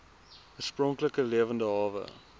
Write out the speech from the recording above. oorspronklike lewende hawe